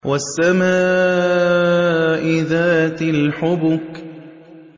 وَالسَّمَاءِ ذَاتِ الْحُبُكِ